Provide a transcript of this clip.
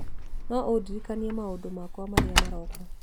no ũndirikanie maũndũ makwa marĩa marooka